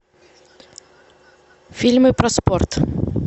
фильмы про спорт